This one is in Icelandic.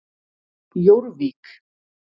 Jórvík